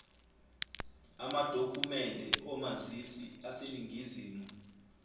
amadokhumende omazisi aseningizimu